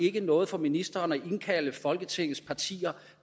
ikke noget for ministeren at indkalde folketingets partier